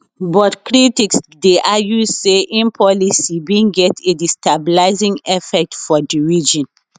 but critics dey argue say im policy bin get a destabilising effect for di region